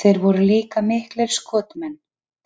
Þeir voru líka miklir skotmenn,